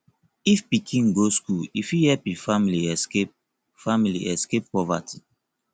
if pikin go school e fit help e family escape family escape poverty